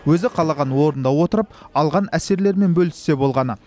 өзі қалаған орнында отырып алған әсерлерімен бөліссе болғаны